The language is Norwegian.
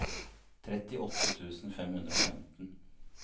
trettiåtte tusen fem hundre og femten